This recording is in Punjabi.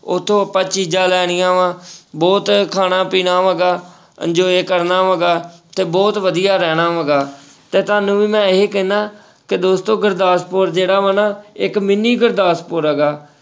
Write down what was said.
ਉੱਥੋਂ ਆਪਾਂ ਚੀਜ਼ਾਂ ਲੈਣੀਆਂ ਵਾਂ, ਬਹੁਤ ਖਾਣਾ ਪੀਣਾ ਹੈਗਾ enjoy ਕਰਨਾ ਹੈਗਾ ਤੇ ਬਹੁਤ ਵਧੀਆ ਰਹਿਣਾ ਹੈਗਾ, ਤੇ ਤੁਹਾਨੂੰ ਵੀ ਮੈਂ ਇਹੀ ਕਹਿਨਾ ਕਿ ਦੋਸਤੋ ਗੁਰਦਾਸਪੁਰ ਜਿਹੜਾ ਵਾ ਨਾ ਇੱਕ mini ਗੁਰਦਾਸਪੁਰ ਹੈਗਾ।